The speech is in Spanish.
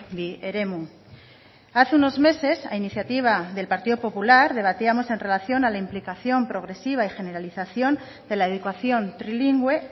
bi eremu hace unos meses a iniciativa del partido popular debatíamos en relación a la implicación progresiva y generalización de la educación trilingüe